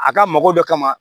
A ka mago dɔ kama